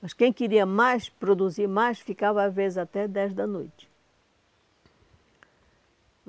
Mas quem queria mais, produzir mais, ficava às vezes até dez da noite.